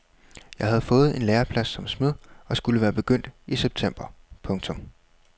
Jeg havde fået en læreplads som smed og skulle være begyndt i september. punktum